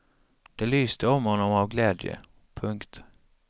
Det lyste om honom av glädje. punkt